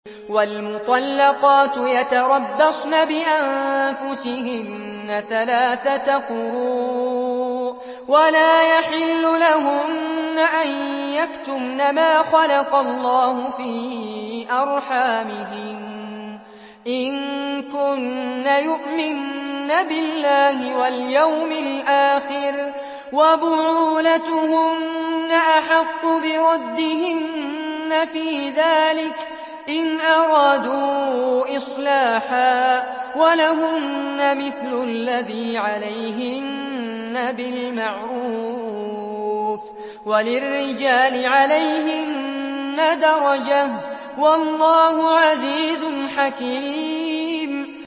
وَالْمُطَلَّقَاتُ يَتَرَبَّصْنَ بِأَنفُسِهِنَّ ثَلَاثَةَ قُرُوءٍ ۚ وَلَا يَحِلُّ لَهُنَّ أَن يَكْتُمْنَ مَا خَلَقَ اللَّهُ فِي أَرْحَامِهِنَّ إِن كُنَّ يُؤْمِنَّ بِاللَّهِ وَالْيَوْمِ الْآخِرِ ۚ وَبُعُولَتُهُنَّ أَحَقُّ بِرَدِّهِنَّ فِي ذَٰلِكَ إِنْ أَرَادُوا إِصْلَاحًا ۚ وَلَهُنَّ مِثْلُ الَّذِي عَلَيْهِنَّ بِالْمَعْرُوفِ ۚ وَلِلرِّجَالِ عَلَيْهِنَّ دَرَجَةٌ ۗ وَاللَّهُ عَزِيزٌ حَكِيمٌ